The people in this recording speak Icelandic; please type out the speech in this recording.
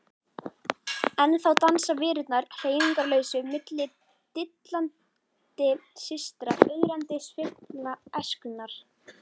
Ennþá dansa verurnar hreyfingarlausu milli dillandi systra, ögrandi sveiflna æskunnar.